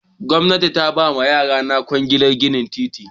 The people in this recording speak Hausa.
Gwamnati ta ba wa yayana kwangilar gina titi.